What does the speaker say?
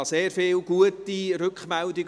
Ich erhielt sehr viele gute Rückmeldungen.